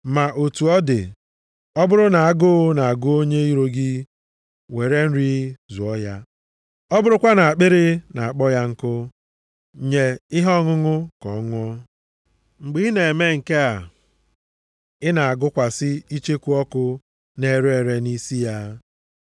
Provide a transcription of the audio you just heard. Ma otu ọ dị, “ọ bụrụ na agụụ na-agụ onye iro gị, were nri zụọ ya, ọ bụrụkwa na akpịrị na-akpọ ya nkụ, nye ihe ọṅụṅụ ka ọ ṅụọ, mgbe ị na-eme nke a, ị na-agụkwasị icheku ọkụ na-ere ere nʼisi ya.” + 12:20 \+xt Ilu 25:21,22\+xt*